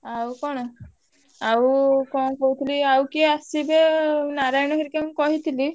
ଆଉ କଣ ଆଉ କଣ କହୁଥିଲି ଆଉ କିଏ ଆସିବି ନାରାୟଣ ହେରିକାଙ୍କୁ କହିଥିଲି।